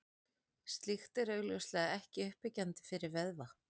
Slíkt er augljóslega ekki uppbyggjandi fyrir vöðva.